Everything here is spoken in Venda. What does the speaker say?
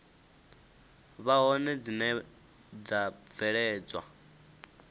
vha hone dzine dza bveledza